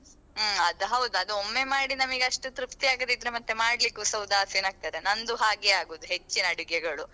ಹ್ಮ್ ಅದೌದು ಅದು ಒಮ್ಮೆ ಮಾಡಿ ನಮ್ಗೆ ಅಷ್ಟು ತೃಪ್ತಿ ಆಗದಿದ್ರೆ ಮತ್ತೆ ಮಾಡ್ಲಿಕ್ಕೂ ಸಾ ಉದಾಸೀನ ಆಗ್ತದೆ ನಂದು ಹಾಗೆ ಆಗುದು ಹೆಚ್ಚಿನ ಅಡುಗೆಗಳು.